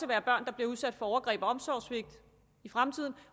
være børn der bliver udsat for overgreb og omsorgssvigt i fremtiden